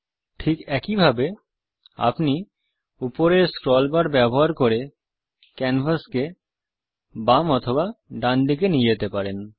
ঠিক একই ভাবে আপনি উপরের স্ক্রল বার ব্যবহার করে ক্যানভাসকে বামডান দিকে নিয়ে যেতে পারেন